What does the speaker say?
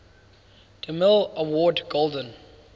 demille award golden